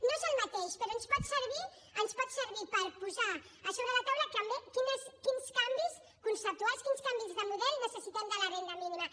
no és el mateix però ens pot servir per posar a sobre la taula també quins canvis conceptuals quins canvis de model necessitem en la renda mínima